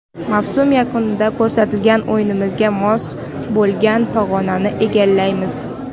Mavsum yakunida ko‘rsatgan o‘yinimizga mos bo‘lgan pog‘onani egallaymiz”.